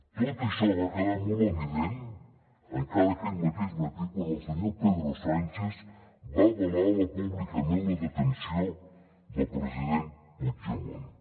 tot això va quedar molt evident encara aquell mateix matí quan el senyor pedro sánchez va avalar públicament la detenció del president puigdemont